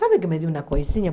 Sabe que me deu uma coisinha?